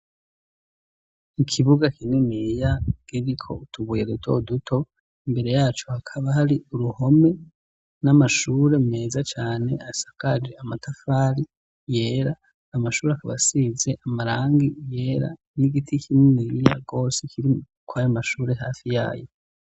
Ikibuga kininiya giriko utubuye duto duto, imbere yaco hakaba hari uruhome n'amashure meza cane asakaje amatafari yera, amashure akaba asize amarangi yera n'igiti kininiya gose kiri kwayo mashuri hafi yayo.